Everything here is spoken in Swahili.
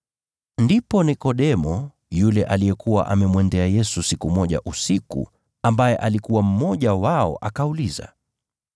Ndipo Nikodemo, yule aliyekuwa amemwendea Yesu siku moja usiku, ambaye alikuwa mmoja wao akauliza,